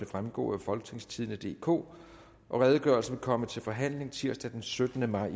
fremgå af folketingstidende DK redegørelsen vil komme til forhandling tirsdag den syttende maj